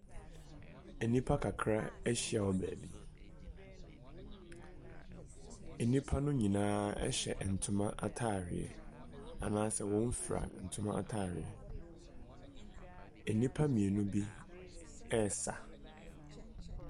Nnipa kakra ahyia wɔ baabi. Nnipa no nyinaa hyɛ ntoma atadeɛ anaasɛ wɔfira ntoma atadeɛ. Nnipa mmienu bi resa.